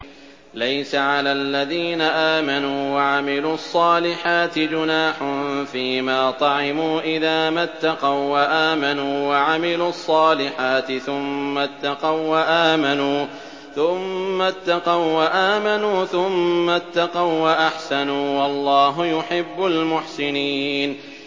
لَيْسَ عَلَى الَّذِينَ آمَنُوا وَعَمِلُوا الصَّالِحَاتِ جُنَاحٌ فِيمَا طَعِمُوا إِذَا مَا اتَّقَوا وَّآمَنُوا وَعَمِلُوا الصَّالِحَاتِ ثُمَّ اتَّقَوا وَّآمَنُوا ثُمَّ اتَّقَوا وَّأَحْسَنُوا ۗ وَاللَّهُ يُحِبُّ الْمُحْسِنِينَ